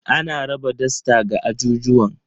Ana raba dasta ga ajujuwan.